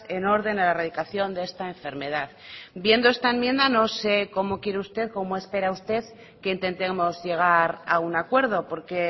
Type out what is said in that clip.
en orden a la erradicación de esta enfermedad viendo esta enmienda no sé cómo quiere usted cómo espera usted que intentemos llegar a un acuerdo porque